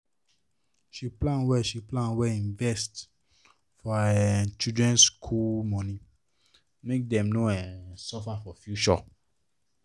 she plan well she plan well invest for her um children school money make dem no um suffer for future